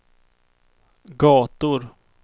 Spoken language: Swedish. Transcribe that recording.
gator